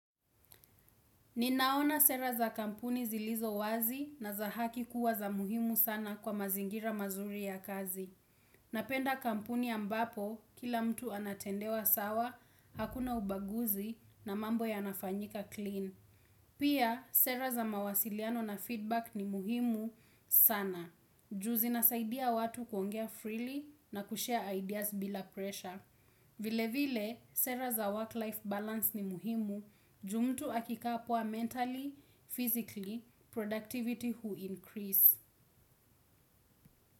Ninaona sera za kampuni zilizo wazi na za haki kuwa za muhimu sana kwa mazingira mazuri ya kazi. Napenda kampuni ambapo, kila mtu anatendewa sawa, hakuna ubaguzi na mambo yanafanyika clean. Pia, sera za mawasiliano na feedback ni muhimu sana. Juu zinasaidia watu kuongea freely na kushare ideas bila pressure. Vile vile, sera za work-life balance ni muhimu, juu mtu akikaa poa mentally, physically, productivity huincrease.